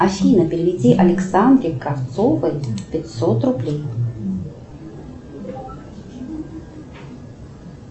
афина переведи александре кравцовой пятьсот рублей